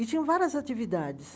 E tinha várias atividades.